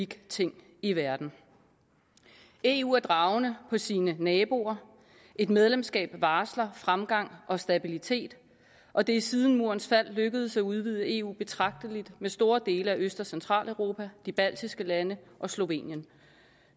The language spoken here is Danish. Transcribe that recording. ting i verden eu er dragende på sine naboer et medlemskab varsler fremgang og stabilitet og det er siden murens fald lykkedes at udvide eu betragteligt med store dele af øst og centraleuropa de baltiske lande og slovenien